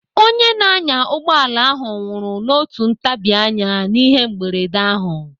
Onye na-anya ụgbọala ahụ nwụrụ n'otu ntabianya n'ihe mberede ahụ.